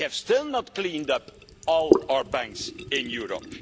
And we have still not cleaned up all our banks in Europe.